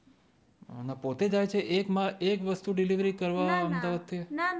પોતે જાય છે એક વસ્તુ ડીલરવરી કરવા અમદાવાદ ત્યાં ના ના